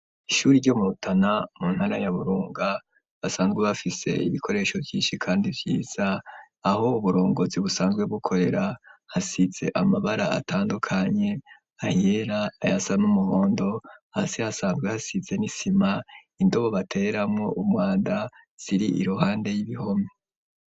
Ishure ryo mubutana mu ntara ya burunga basanzwe bafise ibikoresho byinshi kandi vyiza aho uburongozi busanzwe bukorera hasize amabara atandukanye ayera ayasa n'umuhondo hasi hasanzwe hasize n'isima indobo batereramo umwanda ziri iruhande y'ibihome.